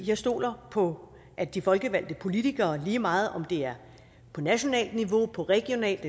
jeg stoler på at de folkevalgte politikere lige meget om det er på nationalt niveau på regionalt